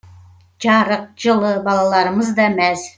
жарық жылы балаларымыз да мәз